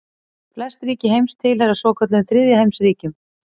Flest ríki heims tilheyra svokölluðum þriðja heims ríkjum.